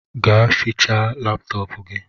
Gaa fịchaa laptọọpu gi!